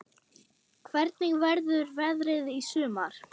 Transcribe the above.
Hvernig verður veðrið í sumar?